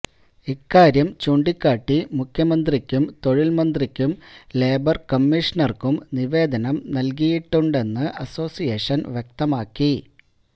ഇക്കാര്യം ചൂണ്ടിക്കാട്ടി മുഖ്യമന്ത്രിക്കും തൊഴില്മന്ത്രിക്കും ലേബര് കമ്മീഷണര്ക്കും നിവേദനം നല്കിയിട്ടുണ്ടെന്ന് അസോസിയേഷന് വ്യക്തമാക്കി